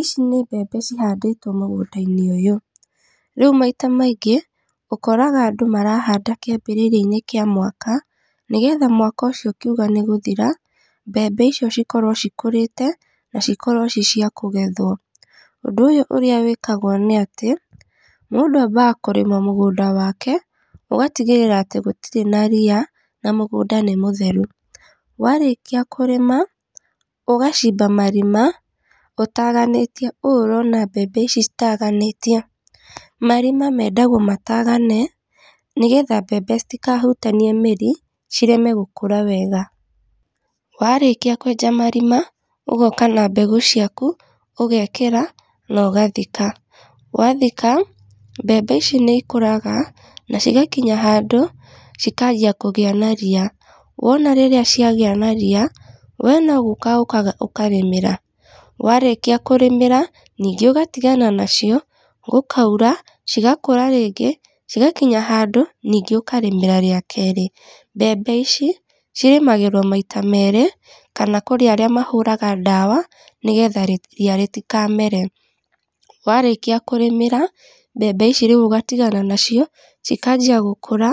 Ici nĩ mbembe cihandĩtwo mũgũnda-inĩ ũyũ. Rĩu maita maingĩ, ũkoraga andũ marahanda kĩambĩrĩria-inĩ kĩa mwaka, nĩgetha mwaka ũcio ũkiuga nĩ gũthira, mbembe icio cikorwo cikũrĩte na cikorwo ci cia kũgethwo, ũndũ ũyũ ũrĩa wĩkagwo nĩ atĩ, mũndũ ambaga kũrĩma mũgũnda wake, ũgatigĩrĩra atĩ gũtirĩ na ria, na mũgũnda nĩ mũtheru, warĩkia kũrĩma, ũgacimba marima ũtaganĩtie ũũ ũrona mbembe ici citaganĩtio. Marima mendagwo matagane, nĩgetha mbembe citikahutanie mĩri, cireme gũkũra wega, warĩkia kwenja marima, ũgoka na mbegũ ciaku, ũgekĩra, nogathika, wathika, mbembe ici nĩ ikũraga, na cigakinya handũ cikanjia kũgĩa na ria, wona rĩrĩa ciagĩa na ria, we no gũka ũkaga ũkarĩmĩra warĩkia kũrĩmĩra, ningĩ ũgatigana nacio, gũkaura, cigakũra rĩngĩ, cigakinya handũ, ningĩ ũkarĩmĩra rĩa kerĩ. Mbembe ici, cirĩmagĩrwo maita merĩ, kana kũrĩ arĩa mahũraga ndawa nĩgetha ria rĩtikamere. Warĩkia kũrĩmĩra mbembe ici rĩu ũgatagana nacio, cikanjia gũkũra,